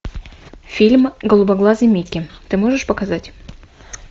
фильм голубоглазый микки ты можешь показать